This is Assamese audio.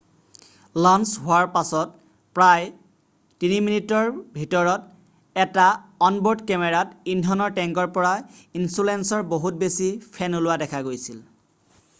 লঞ্চ হোৱাৰ প্ৰায় 3 মিনিটৰ ভিতৰত এটা অন-ব'ৰ্ড কেমেৰাত ইন্ধনৰ টেংকৰ পৰা ইনছুলেশ্বনৰ বহুত বেছি ফেন ওলোৱা দেখা গৈছিল